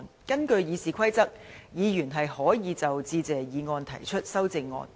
根據《議事規則》，議員是可以就"致謝議案"提出修正案。